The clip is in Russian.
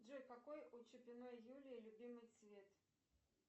джой какой у чупиной юлии любимый цвет